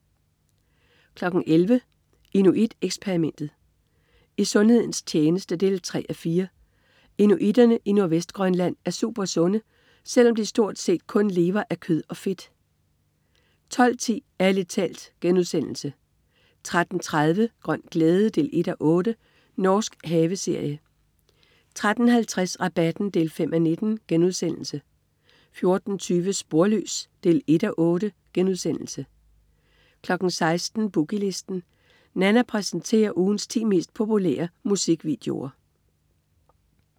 11.00 Inuit Eksperimentet. I sundhedens tjeneste 3:4. Inuitterne i Nordvestgrønland er supersunde, selv om de stort set kun lever af kød og fedt 12.10 Ærlig talt* 13.30 Grøn glæde 1:8. Norsk haveserie 13.50 Rabatten 5:19* 14.20 Sporløs 1:8* 16.00 Boogie Listen. Nanna præsenterer ugens ti mest populære musikvideoer